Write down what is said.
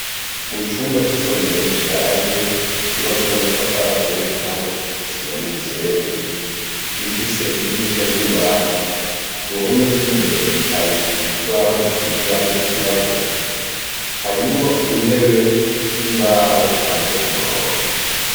Mu cumba c'isomero rishaje, ryubatse n'amatafari ateye igipande c'isima n'umusenyi, gifise idirisha ry'imbaho ku ruhome rw'imbere hari ikibaho gisize irangi ryirabura, harimwo intebe z'imbaho zipanze ku murongo.